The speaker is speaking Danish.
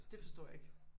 Dét forstår jeg ikke